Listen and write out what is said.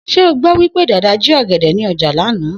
S̩é o gbó̩ wí pé Dàda jí ò̩gè̩dè̩ ní o̩jà lánàá?